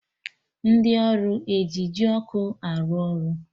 Ndị ọrụ eji ji ọkụ arụ ọrụ